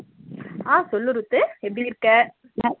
அஹ் சொல்லு ரூத்து எப்பிடி இருக்க